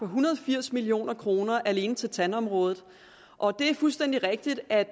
hundrede og firs million kroner alene til tandområdet og det er fuldstændig rigtigt at